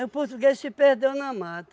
o português se perdeu na mata.